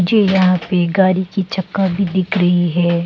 ये यहां पे गाड़ी की चक्का भी दिख रही है।